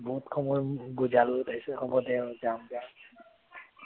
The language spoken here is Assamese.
বহুত সময় বুজালো তাৰপাছত হব দে আৰু যাম যা